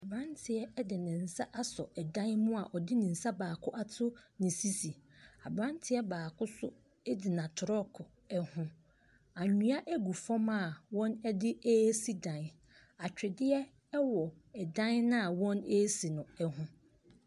Abranteɛ de ne nsa dan mu a ɔde ne nsa baako ato ne sisi. Abranteɛ baako nso gyina trɔɔgo ho. Anwea gu fam a wɔde si dan. Atwedeɛ wɔ dan a wɔresi no ho.